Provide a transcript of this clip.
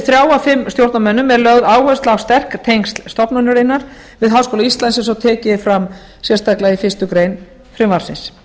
þrjá af fimm stjórnarmönnum er lögð áhersla á sterk tengsl stofnunarinnar við háskóla íslands eins og tekið er fram sérstaklega í fyrstu grein frumvarpsins